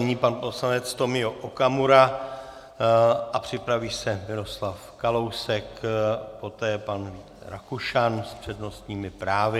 Nyní pan poslanec Tomio Okamura a připraví se Miroslav Kalousek, poté pan Rakušan s přednostními právy.